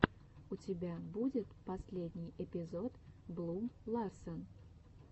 у тебя будет последний эпизод блум ларсен